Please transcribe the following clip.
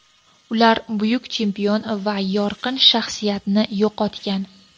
Ular buyuk chempion va yorqin shaxsiyatni yo‘qotgan.